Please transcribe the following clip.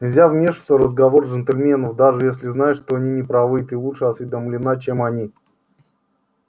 нельзя вмешиваться в разговор джентльменов даже если знаешь что они не правы и ты лучше осведомлена чем они